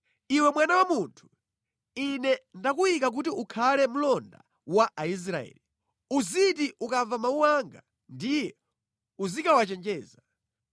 “Iwe mwana wa munthu, Ine ndakuyika kuti ukhale mlonda wa Aisraeli. Uziti ukamva mawu anga, ndiye uzikawachenjeza.